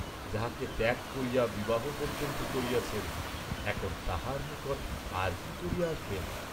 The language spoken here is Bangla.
যাহাকে ত্যাগ করিয়া বিবাহ পর্য্যন্ত করিয়াছেন, এখন তাহার নিকট আর কি করিয়া আসিবেন!